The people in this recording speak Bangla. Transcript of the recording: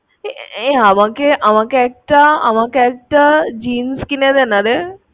এ আমাকে~আমাকে একটা ~আমাকে একটা jeans কিনে দেনা রে।